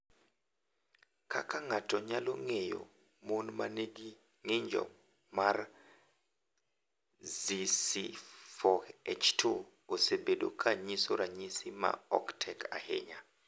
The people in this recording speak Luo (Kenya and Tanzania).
Kaka ng’ato nyalo ng’eyo, mon ma nigi ng’injo mar ZC4H2 osebedo ka nyiso ranyisi ma ok tek ahinya.